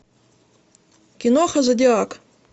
киноха зодиак